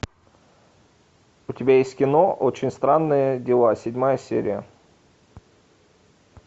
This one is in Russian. у тебя есть кино очень странные дела седьмая серия